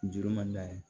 Juru man d'a ye